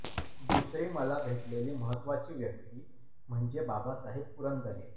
दुसरी मला भेटलेली महत्त्वाची व्यक्ती म्हणजे बाबासाहेब पुरंदरे